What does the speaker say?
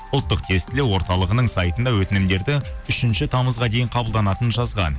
ұлттық тестілеу орталығының сайтында өтінімдерді үшінші тамызға дейін қабылданатынын жазған